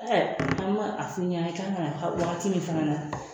Ɛɛ an ba a fɔ i ɲɛna i kan ka na wagati min fana na